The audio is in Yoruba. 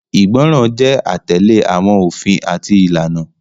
Igbọran jẹ atẹle awọn ofin ati ilana.